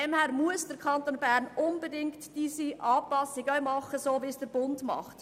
Daher muss der Kanton Bern unbedingt eine Anpassung vornehmen, so wie es auch der Bund tut.